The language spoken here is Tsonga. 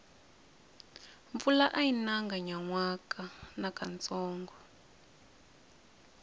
mpfula ayi nanga nyanwaka nakantsongo